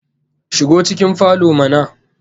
Shigo cikin falo mana